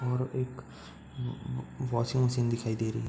और एक washing machine दिखाई दे रही --